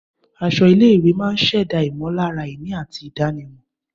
Aṣọ ilé-ìwé máa ń ṣẹ̀dá ìmọ̀lára ìní àti ìdánimọ̀.